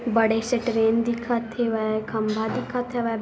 बड़े से ट्रेन दिखत हेवय खम्बा दिखत हवय।